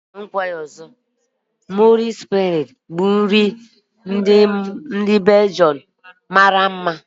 Moules fries bụ nri ndị Belgium mara mma nke mọsel na ihe ndi ehere ehe.